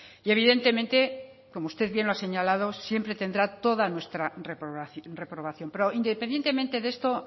y evidentemente como usted bien lo ha señalado siempre tendrá toda nuestra reprobación pero independientemente de esto